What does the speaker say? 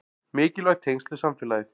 Mikilvæg tengsl við samfélagið